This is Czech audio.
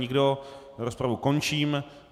Nikdo, rozpravu končím.